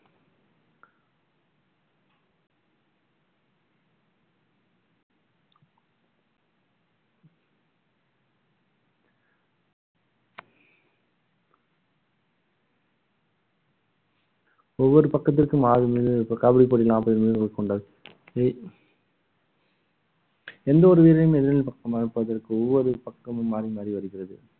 ஒவ்வொரு பக்கத்திற்கும் ஆறு வீரர்கள் கபடி போட்டி நாற்பது வீரர்கள் கொண்ட ஸ்ரீ எந்த ஒரு வீரரையும் எதிரில் பக்கம் அனுப்புவதற்கு ஒவ்வொரு பக்கமும் மாறி மாறி வருகிறது